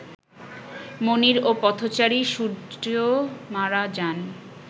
মনির ও পথচারী সূর্য্য মারা যান